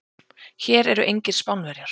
Hér eru engir Spánverjar.